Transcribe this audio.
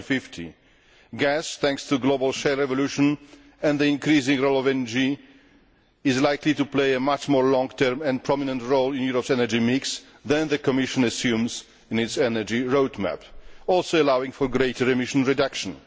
2050. Gas thanks to global shale evolution and the increasing role of energy, is likely to play a much more long term and prominent role in Europe's energy mix than the Commission assumes in its energy roadmap, also allowing for greater emission reduction.